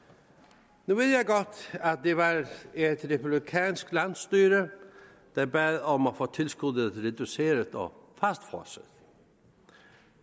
nu at det var et republikansk landsstyre der bad om at få tilskuddet reduceret og fastfrosset